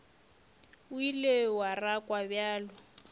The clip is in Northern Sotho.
o ile wa rakwa bjalo